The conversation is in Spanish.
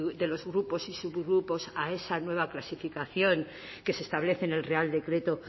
de los grupos y subgrupos a esa nueva clasificación que se establece en el real decreto